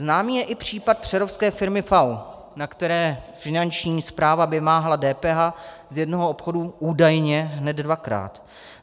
Známý je i případ přerovské firmy FAU, na které Finanční správa vymáhala DPH z jednoho obchodu údajně hned dvakrát.